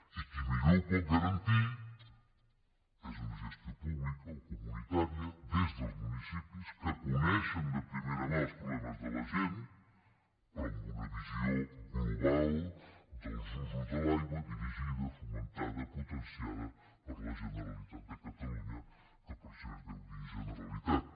i qui millor ho pot garantir és una gestió pública o comunitària des dels municipis que coneixen de primera mà els problemes de la gent però amb una visió global dels usos de l’aigua dirigida fomentada potenciada per la generalitat de catalunya que per això es deu dir generalitat